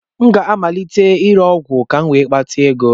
Aga m amalite ire ọgwụ ka m wee nweta ego.